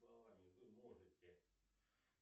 словами вы можете